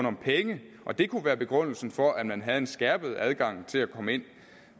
om penge og det kunne være begrundelsen for at man havde en skærpet adgang til at komme ind